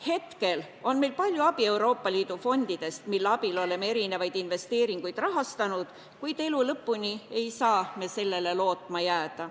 Hetkel on meil palju abi Euroopa Liidu fondidest, mille abil oleme erinevaid investeeringuid rahastanud, kuid elu lõpuni ei saa me sellele lootma jääda.